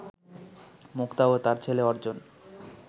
মুক্তা ও তার ছেলে অর্জন